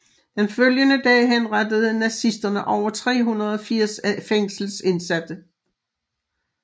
Den følgende dag henrettede nazisterne over 380 af fængslets indsatte